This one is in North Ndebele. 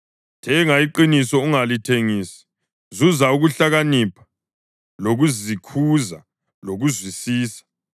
Thenga iqiniso ungalithengisi; zuza ukuhlakanipha lokuzikhuza lokuzwisisa.